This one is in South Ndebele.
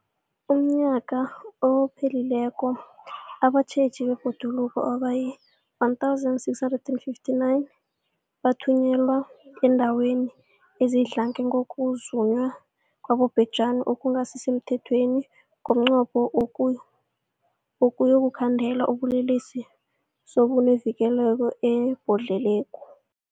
UmNnyaka ophelileko abatjheji bebhoduluko abayi-1 659 bathunyelwa eendaweni ezidlange ngokuzunywa kwabobhejani okungasi semthethweni ngomnqopho wokuyokukhandela ubulelesobu nokuvikela ibhoduluko.